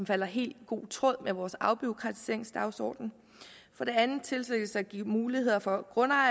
falder i god tråd med vores afbureaukratiseringsdagsorden for det andet tilsikres der gives mulighed for